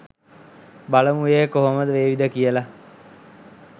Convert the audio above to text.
බලමු ඒක කොහොම වේවිද කියලා